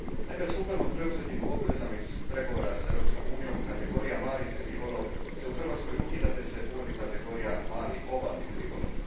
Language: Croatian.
Naime, sukladno preuzetim obvezama iz pregovora s Europskom unijom kategorija mali ribolov se ukida te se uvodi kategorija mali obalni ribolov.